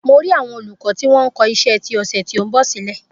Mo rì àwọn olùkọ́ tí wọn ń kọ iṣẹ́ ti ọ̀sẹ̀ ti ó ń bọ̀ sílè